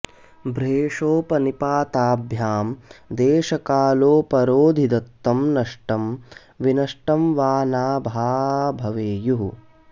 भ्रेषोपनिपाताभ्याम् देशकालोपरोधि दत्तम् नष्टम् विनष्टम् वा ना भ्याभवेयुः